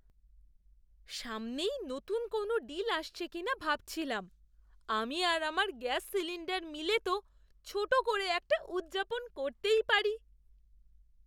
সামনেই নতুন কোনও ডিল আসছে কিনা ভাবছিলাম। আমি আর আমার গ্যাস সিলিণ্ডার মিলে তো ছোট করে একটা উদযাপন করতেই পারি!